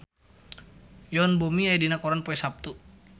Yoon Bomi aya dina koran poe Saptu